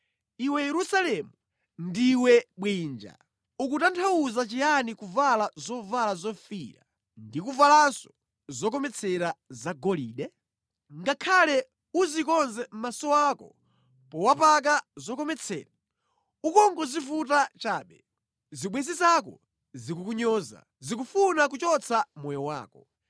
Iwe Yerusalemu, ndiwe bwinja! Ukutanthauza chiyani kuvala zovala zofiira ndi kuvalanso zokometsera zagolide? Ngakhale udzikonze maso ako powapaka zokometsera, ukungodzivuta chabe. Zibwenzi zako zikukunyoza; zikufuna kuchotsa moyo wako.